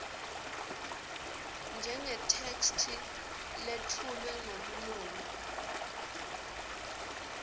njengetheksthi letfulwe ngebunono